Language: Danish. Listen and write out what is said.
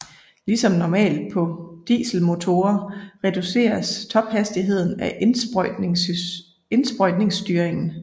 Ligesom normalt på dieselmotorer reduceres tophastigheden af indsprøjtningsstyringen